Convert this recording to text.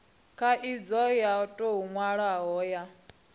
khaidzo yo tou nwalwaho ya